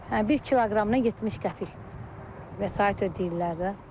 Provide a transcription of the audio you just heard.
Hə, bir kiloqramına 70 qəpik vəsait ödəyirlər də.